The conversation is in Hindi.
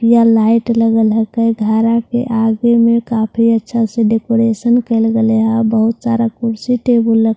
यहां लाइट लगा ला है कई घरा के आगे में काफी अच्‍छा सा डेकुरेशन कर लगाया बहुत अच्‍छे से सारा कुर्सी टेबल रख ला--